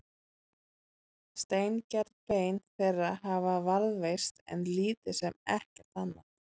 Steingerð bein þeirra hafa varðveist en lítið sem ekkert annað.